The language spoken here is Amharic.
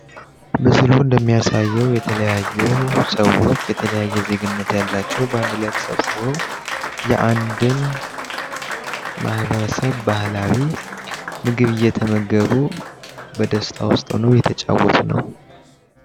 ምስሉ እንደሚያሳየው የተለያዩ ሰዎች የተለያየ ዜግነት ያላቸው በአንድ ላይ ተሰብስበው የአንድን ማህበረሰብ ባህላዊ ምግብ እየተመገቡ በደስታ ውስጥ ሆነው እየተጫወቱ ነው።